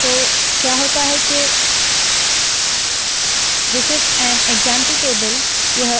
तो क्या होता है के this is an example table